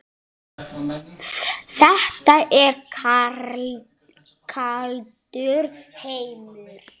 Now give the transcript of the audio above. Þetta er kaldur heimur.